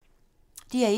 DR1